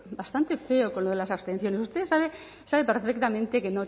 bastante feo con lo de las abstenciones usted sabe perfectamente que